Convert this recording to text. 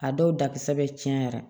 A dɔw da kisɛ bɛ caya